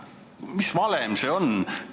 Mis valem see on?